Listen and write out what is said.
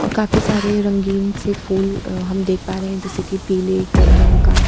और काफी सारे रंगीन से फूल अ हम देख पा रहे हैं जैसे की पीले क रंग का।